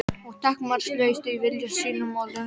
Og takmarkalaust í vilja sínum og löngun.